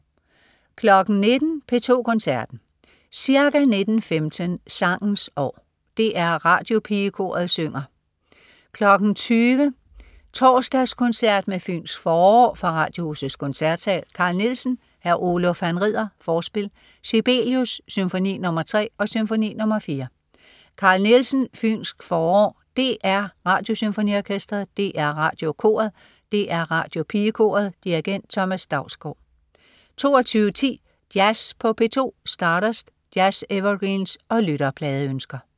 19.00 P2 Koncerten. Ca. 19.15 Sangens År. DR Radiopigekoret synger V. 20.00 Torsdagskoncert med Fynsk forår. Fra Radiohusets Koncertsal. Carl Nielsen: Hr. Oluf han rider, Forspil. Sibelius: Symfoni nr. 3 og Symfoni nr. 4. Carl Nielsen: Fynsk forår. DR Radiosymfoniorkestret. DR Radiokoret. DR Radiopigekoret. Dirigent: Thomas Dausgaard 22.10 Jazz på P2. Stardust. Jazz-evergreens og lytterpladeønsker